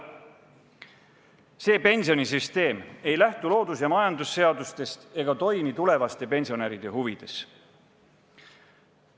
See pensionisüsteem ei lähtu loodus- ja majandusseadustest ega toimi tulevaste pensionäride huvides.